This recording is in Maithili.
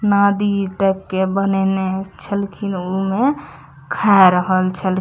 नदी तक के बनेने छलखिन ऊ में खा रहल छ --